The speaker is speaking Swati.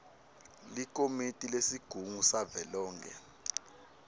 likomiti lesigungu savelonkhe